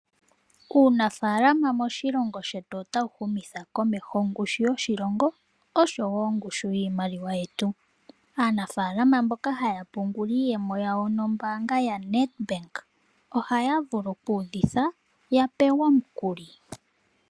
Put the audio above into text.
Uunafaalama moshilongo shetu otawu humitha komeho ongushu yoshilongo osho woo iimaliwa yetu. Aanafaalama mboka haya pungula iiyemo yawo nombaanga yoNedbank ohavulu kudhitha yapewe omukuli.